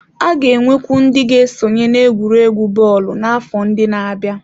A ga-enwekwu ndị ga-esonye n'egwuregwu bọọlụ n'afọ ndị na-abịa.